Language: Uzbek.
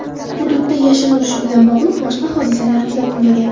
Hududda yashin urishi bilan bog‘liq boshqa hodisalar kuzatilmagan.